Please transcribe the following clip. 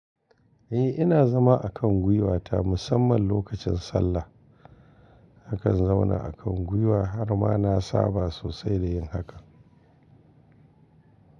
Eh ina zama a kan gwiwata musamman lokacin sallah. Akan zauna a kan gwiwa har ma na saba sosai da yin hakan.